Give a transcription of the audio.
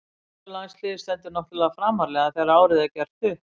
Íslenska landsliðið stendur náttúrlega framarlega þegar árið er gert upp.